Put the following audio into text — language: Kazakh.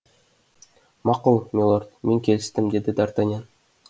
мақұл милорд мен келістім деді д артаньян